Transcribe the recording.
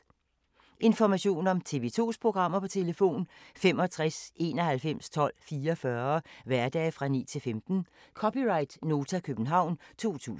Information om TV 2's programmer: 65 91 12 44, hverdage 9-15.